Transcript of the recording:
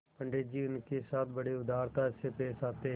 पंडित जी उनके साथ बड़ी उदारता से पेश आते